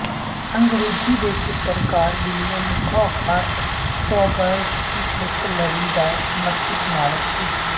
ਅੰਗ੍ਰੇਜ਼ੀ ਦੇ ਚਿੱਤਰਕਾਰ William Hogarth ਪੌਗਜ਼ ਦੀ ਇੱਕ ਲੜੀ ਦਾ ਸਮਰਪਿਤ ਮਾਲਕ ਸੀ